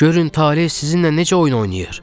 Görün tale sizinlə necə oyun oynayır?